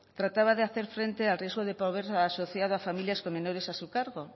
trataba de hacer frente al riesgo de pobreza a la sociedad a familias con menores a su cargo